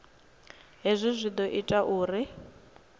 hezwi zwi ḓo ita uri